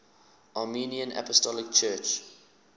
armenian apostolic church